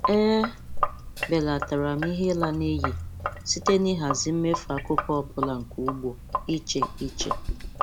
E belatara m ihe ịla n'iyi site na ịhazi mmefu akụkụ ọ bụla nke ugbo, iche iche